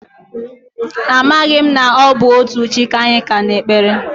Amaghị m na ọ bụ otu chi ka anyị ka na-ekpere.